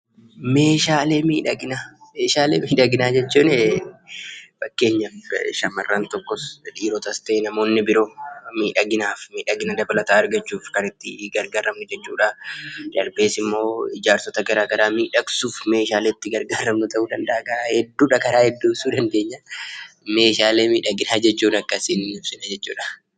Meeshaalee miidhaginaa jechuun fakkeenyaaf shamarran tokko dhiirotas ta'ee namoonni biroo miidhagina dabalataa argachuuf kan itti gargaaraman jechuudha. Darbees immoo ijaarsota garaagaraa miidhagsuuf meeshaalee itti gargaaramnu ta'uu danda'a. Karaa hedduu ibsuu dandeenya.